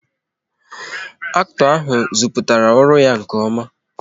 Acto ahụ ziputara ọrụ ya nke oma